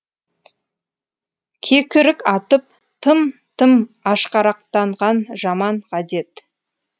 кекірік атып тым тым ашқарақтанған жаман ғадет